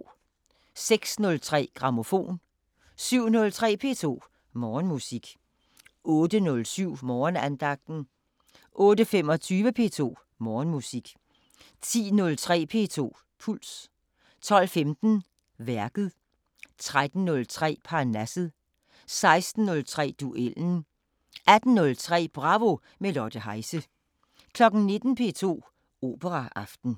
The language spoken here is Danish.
06:03: Grammofon 07:03: P2 Morgenmusik 08:07: Morgenandagten 08:25: P2 Morgenmusik 10:03: P2 Puls 12:15: Værket 13:03: Parnasset 16:03: Duellen 18:03: Bravo – med Lotte Heise 19:00: P2 Operaaften